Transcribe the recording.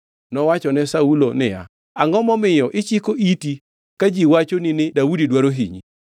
Nowachone Saulo niya, “Angʼo momiyo ichiko iti ka ji wachoni ni, ‘Daudi dwaro hinyi’?